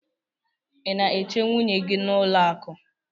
ị na-eche nwunye gị n'ụlọ akụ?